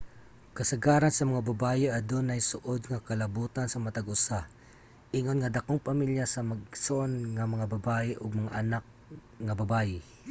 kasagaran sa mga babaye adunay suod nga kalabutan sa matag usa ingon nga dakong pamilya sa mag-igsoon nga mga babaye ug mga anak nga babaye